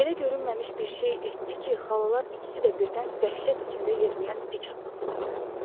Elə görünməmiş bir şey etdi ki, xalalar ikisi də birdən dəhşət içində yerindən dik atıldılar.